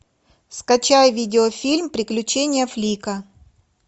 скачай видеофильм приключения флика